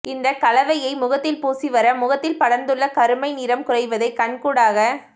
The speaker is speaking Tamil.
இந்தக் கலவையை முகத்தில் பூசி வர முகத்தில் படர்ந்துள்ள கருமை நிறம் குறைவதை கண் கூடாகக்